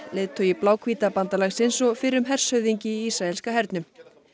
leiðtogi bandalagsins og fyrrum hershöfðingi í ísraelska hernum